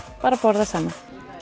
bara að borða saman